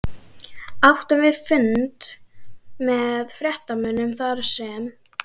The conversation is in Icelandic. Áttum við fund með fréttamönnum þarsem